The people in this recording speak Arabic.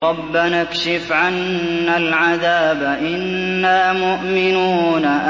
رَّبَّنَا اكْشِفْ عَنَّا الْعَذَابَ إِنَّا مُؤْمِنُونَ